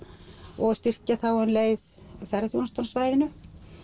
og styrkja þá um leið ferðaþjónustu á svæðinu